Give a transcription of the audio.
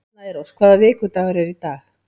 Snærós, hvaða vikudagur er í dag?